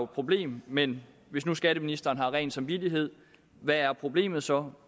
problem men hvis nu skatteministeren har ren samvittighed hvad er problemet så